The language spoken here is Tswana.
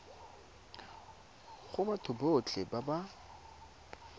go batho botlhe ba ba